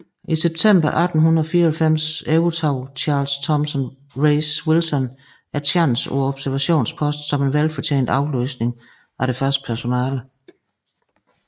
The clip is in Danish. I september 1894 overtog Charles Thomson Rees Wilson tjansen på observationsposten som en velfortjent afløsning af det faste personale